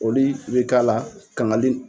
O li be k'a la, kangali